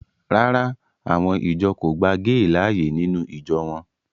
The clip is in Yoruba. Rárá, àwọn ìjọ kò gba géè láàyè nínú ìjọ wọn